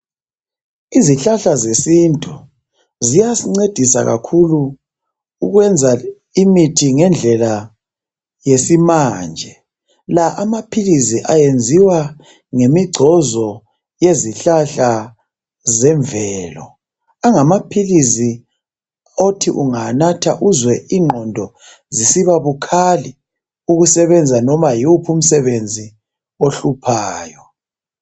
Izihlahla zesintu ziyasincedisa kakhulu ukwenza imithi ngendlela yesimanje. La amaphilisi ayenziwa ngemigcozo yezihlahla zemvelo. Angamaphilisi othi ungawanatha uzwe ingqondo zisiba bukhali ukusebenza noma yiwuphi umsebenzi ohluphayo.